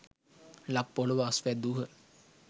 ලක් පොළොව අස්වැද්‍දූහ.